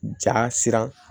Ja siran